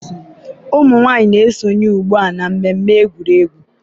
ụmụ nwanyị na-esonye ugbu a na mmemme egwuregwu.